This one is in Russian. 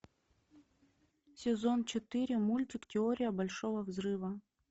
сезон четыре мультик теория большого взрыва